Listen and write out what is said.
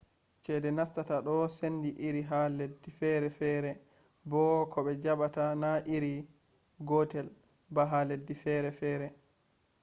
ceede nastata do sendi iri ha leddi feere feere bo ko be jabata na iri gotel ba ha leddi feere feere